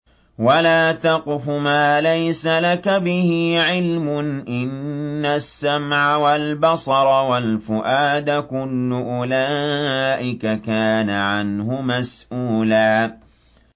وَلَا تَقْفُ مَا لَيْسَ لَكَ بِهِ عِلْمٌ ۚ إِنَّ السَّمْعَ وَالْبَصَرَ وَالْفُؤَادَ كُلُّ أُولَٰئِكَ كَانَ عَنْهُ مَسْئُولًا